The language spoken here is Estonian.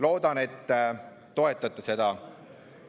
Loodan, et te toetate seda.